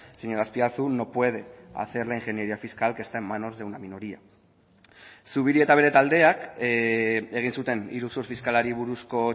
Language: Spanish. señor azpiazu no puede hacer la ingeniería fiscal que está en manos de una minoría zubiri eta bere taldeak egin zuten iruzur fiskalari buruzko